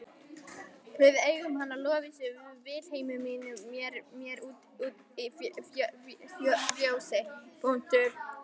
Við eigum hana Lovísu Vilhelmínu hér úti í fjósi.